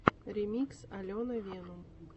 ремикс алена венум